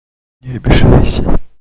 не обижайся